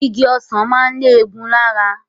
Igi ọsàn máa ń lẹ́gùn-ún lára